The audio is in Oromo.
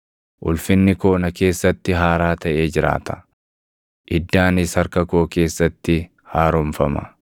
Ulfinni koo na keessatti haaraa taʼee jiraata; iddaanis harka koo keessatti haaromfama.’